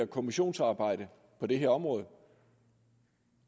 kommissionsarbejde på det her område